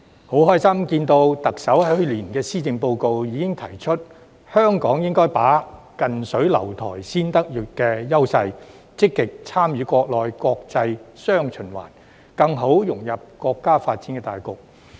我樂見特首在去年的施政報告已經提出，香港應該把握"近水樓台先得月"的優勢，積極參與國內國際"雙循環"，更好地融入國家的發展大局。